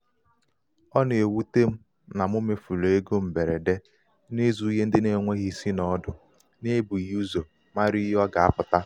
ọ na-ewute m na mụ mefuru égo mgberede n'ịzụ ihe ndị n'enweghị isi na ọdụ n'ebughị ụzọ mara ihe ọ ga- apụta.